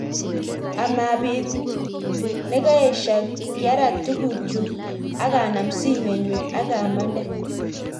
A mabeet nengeshyek kiarat tugukchuk ak a nam simet nyu ak a mande